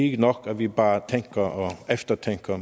ikke nok at vi bare tænker og eftertænker